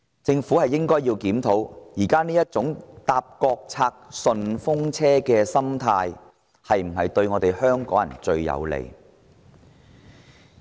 政府檢討現時這種"坐國策順風車"的心態，不是對香港人最有利嗎？